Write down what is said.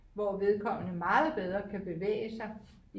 hvor vedkommende meget bedre kan bevæge sig